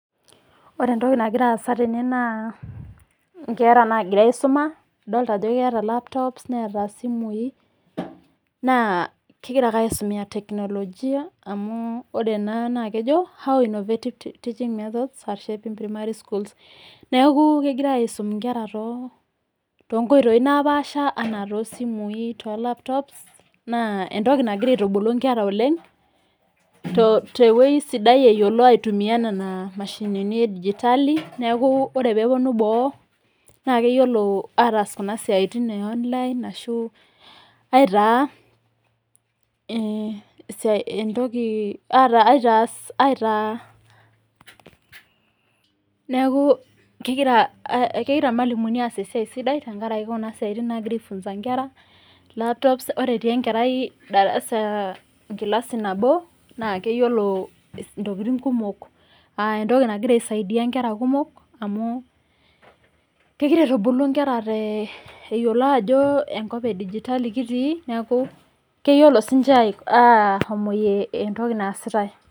Ore entoki nagira aasa naa inkera naagira aisuma adolita ajo keetalaptops neeta isimui naa kegira ake aisumia teknolojia naa ore ena naa kejo innovated teaching methods te sukuul Niaku kegirai aisum ingera toonkoitoi napaasha enaa toosimui toolaptops naa entoki nagira aitubulu ingera oleng tewei sidai aitumia nena mashinini edigitali neaku ore peepuonu boo naa peetum aatas isiaitin eonline Niaku kegira ilmwalimuni aas esiai sidai aifunza ingera telaptops ore etii enkerai endarasa engilasi nabo naa keyiolo ntokiting kumok aa entoki nagira aisaidia nkera kumok aah kegira aitubulu ngera kumok itodolu ajo enkop edijitali kitii niaku keyiolo siininje ashomoyie entoki naasitae